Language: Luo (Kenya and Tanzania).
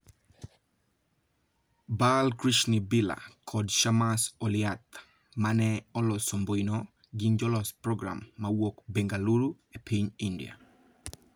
Bal Krishn Birla kod Shammas Oliyath, ma ne olosombuino, gin jolos program mawuok Bengaluru, e piny India.